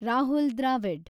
Rahul Dravid